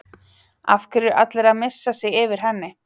Af hverju er allir að missa sig yfir henni?